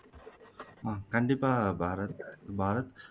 அஹ் கண்டிப்பா பாரத் பாரத்